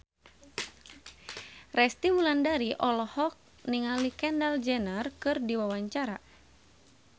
Resty Wulandari olohok ningali Kendall Jenner keur diwawancara